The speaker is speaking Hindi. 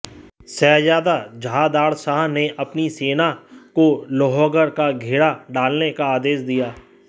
शहजादा जहांदारशाह ने अपनी सेना को लोहगढ़ का घेरा डालने का आदेश दिया